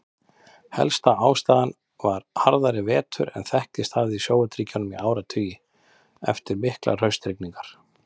Helsta ástæðan var harðari vetur en þekkst hafði í Sovétríkjunum í áratugi, eftir miklar haustrigningar.